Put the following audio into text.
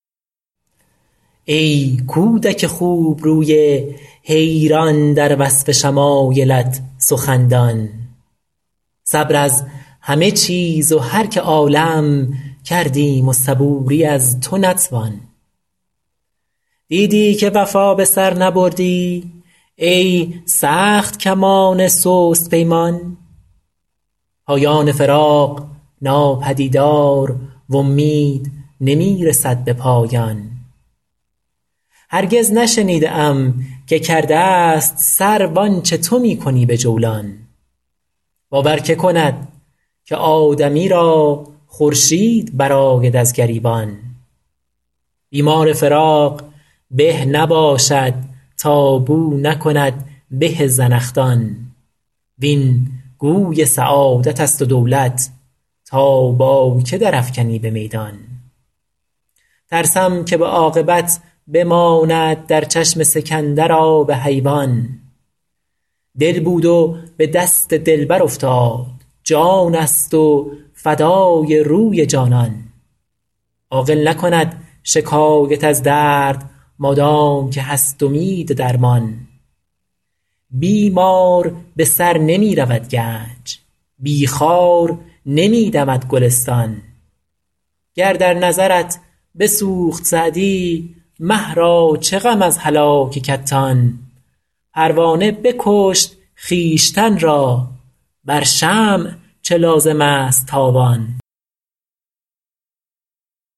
ای کودک خوبروی حیران در وصف شمایلت سخندان صبر از همه چیز و هر که عالم کردیم و صبوری از تو نتوان دیدی که وفا به سر نبردی ای سخت کمان سست پیمان پایان فراق ناپدیدار و امید نمی رسد به پایان هرگز نشنیده ام که کرده ست سرو آنچه تو می کنی به جولان باور که کند که آدمی را خورشید برآید از گریبان بیمار فراق به نباشد تا بو نکند به زنخدان وین گوی سعادت است و دولت تا با که در افکنی به میدان ترسم که به عاقبت بماند در چشم سکندر آب حیوان دل بود و به دست دلبر افتاد جان است و فدای روی جانان عاقل نکند شکایت از درد مادام که هست امید درمان بی مار به سر نمی رود گنج بی خار نمی دمد گلستان گر در نظرت بسوخت سعدی مه را چه غم از هلاک کتان پروانه بکشت خویشتن را بر شمع چه لازم است تاوان